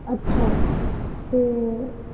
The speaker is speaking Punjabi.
ਅੱਛਾ ਤੇ।